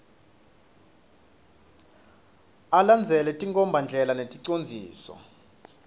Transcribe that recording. alandzele tinkhombandlela neticondziso